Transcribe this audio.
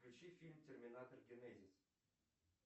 включи фильм терминатор генезис